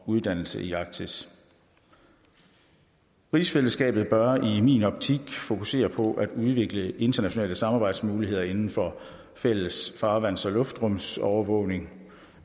uddannelse i arktis rigsfællesskabet bør i min optik fokusere på at udvikle internationale samarbejdsmuligheder inden for fælles farvands og luftrumsovervågning